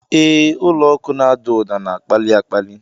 Ee, ụlọ ọkụ na-ada ụda na-akpali akpali!